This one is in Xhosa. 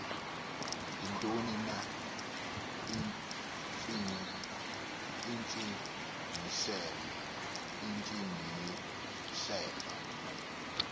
yintoni na intsingiselo